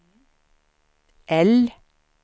L